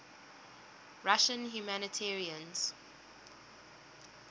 russian humanitarians